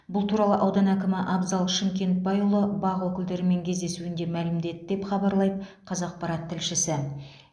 бұл туралы аудан әкімі абзал шымкентбайұлы бақ өкілдерімен кездесуінде мәлімдеді деп хабарлайды қазақпарат тілшісі